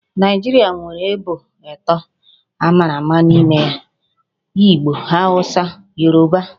Naijiria nwere ebo ato a mara ama n'ime ya; Igbo, Hausa na Yoruba